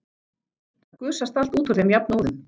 Það gusast allt út úr þeim jafn óðum.